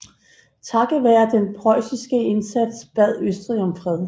Takket være den preussiske indsats bad Østrig om fred